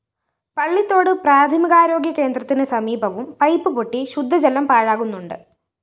പള്ളിത്തോട് പ്രാഥമികാരോഗ്യകേന്ദ്രത്തിന് സമീപവും പൈപ്പ്‌ പൊട്ടി ശുദ്ധജലം പാഴാകുന്നുണ്ട്